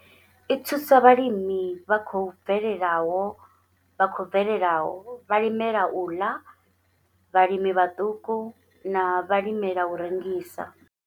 I thusa vhalimi vha khou bvelelaho vha khou bvelelaho, vhalimela u ḽa, vhalimi vhaṱuku na vhalimela u rengisa.